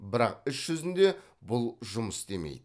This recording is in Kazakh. бірақ іс жүзінде бұл жұмыс істемейді